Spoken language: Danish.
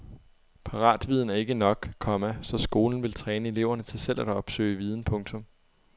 Paratviden er ikke nok, komma så skolen vil træne eleverne til selv at opsøge viden. punktum